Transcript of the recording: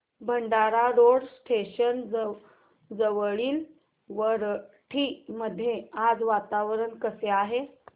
Bhandara road station जवळील वरठी मध्ये आज वातावरण कसे आहे